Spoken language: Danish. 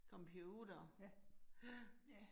Computer ja